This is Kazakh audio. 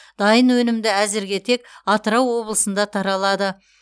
дайын өнімді әзірге тек атырау облысында таралады